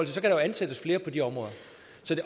så kan ansættes flere på de områder